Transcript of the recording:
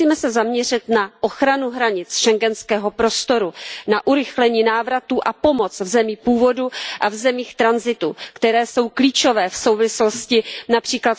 Musíme se zaměřit na ochranu hranic schengenského prostoru, na urychlení návratu a pomoc v zemích původu a v zemích tranzitu, které jsou klíčové v souvislosti např.